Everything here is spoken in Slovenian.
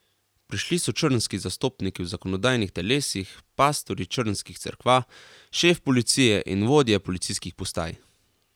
Prišli so črnski zastopniki v zakonodajnih telesih, pastorji črnskih cerkva, šef policije in vodje policijskih postaj.